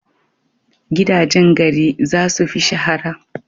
Gidajen gari za su fi shahara.